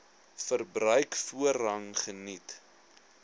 verbruik voorrang geniet